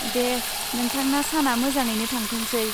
दे, नोंथांना सानआ मोजाङैनो थांथोंसै!